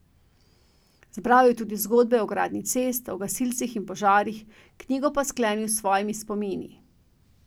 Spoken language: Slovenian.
Zbral je tudi zgodbe o gradnji cest, o gasilcih in požarih, knjigo pa sklenil s svojimi spomini.